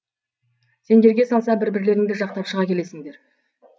сендерге салса бір бірлеріңді жақтап шыға келесіңдер